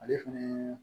Ale fɛnɛ